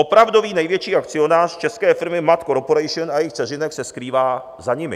Opravdový největší akcionář české firmy MAT Corporation a jejích dceřinek se skrývá za nimi.